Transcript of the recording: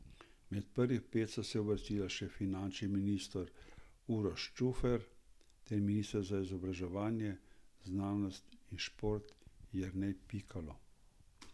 Med prvih pet sta se uvrstila še finančni minister Uroš Čufer ter minister za izobraževanje, znanost in šport Jernej Pikalo.